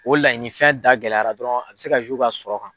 O laɲini fɛn da gɛlɛyara dɔrɔn a bɛ se ka u ka sɔrɔ kan.